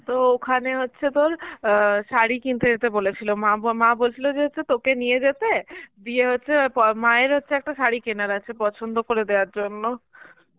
তো ওখানে হচ্ছে তোর অ্যাঁ শাড়ি কিনতে যেতে বলেছিল, মা ব~ মা বলছিল যে একটু তোকে নিয়ে যেতে দিয়ে হচ্ছে প~ মায়ের হচ্ছে একটা শাড়ি কেনার আছে পছন্দ করে দেয়ার জন্য